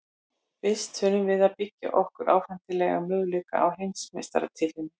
Fyrst þurfum við að tryggja okkur áfram til að eiga möguleika á heimsmeistaratitlinum.